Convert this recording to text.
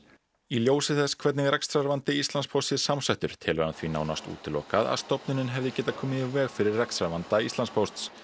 í ljósi þess hvernig rekstrarvandi Íslandspósts sé samsettur telur hann því nánast útilokað að stofnunin hefði getað komið í veg fyrir rekstrarvanda Íslandspósts